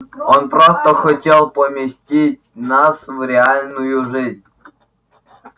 он просто хотел поместить нас в реальную жизненную обстановку сказала гермиона